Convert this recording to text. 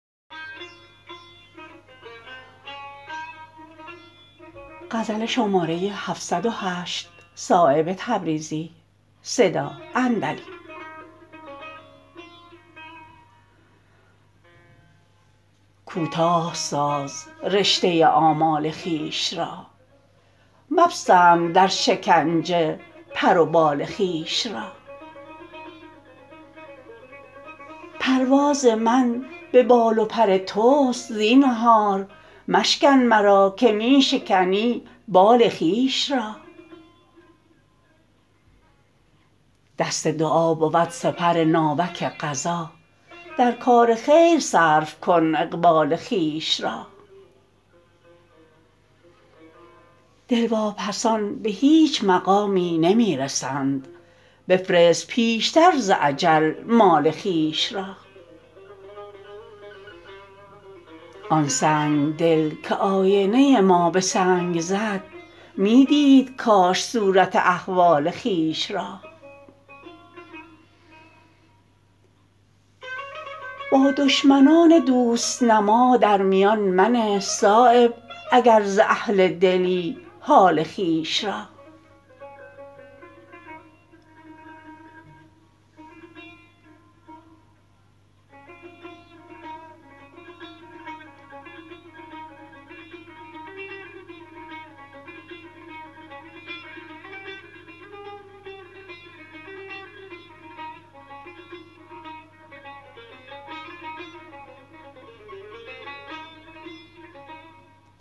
کوتاه ساز رشته آمال خویش را مپسند در شکنجه پر و بال خویش را پرواز من به بال و پر توست زینهار مشکن مرا که می شکنی بال خویش را دست دعا بود سپر ناوک قضا در کار خیر صرف کن اقبال خویش را دل واپسان به هیچ مقامی نمی رسند بفرست پیشتر ز اجل مال خویش را آن سنگدل که آینه ما به سنگ زد می دید کاش صورت احوال خویش را با دشمنان دوست نما در میان منه صایب اگر ز اهل دلی حال خویش را